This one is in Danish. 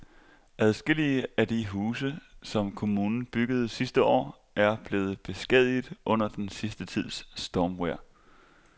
Adskillige af de huse, som kommunen byggede sidste år, er blevet beskadiget under den sidste tids stormvejr.